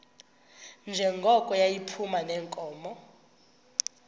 njengoko yayiphuma neenkomo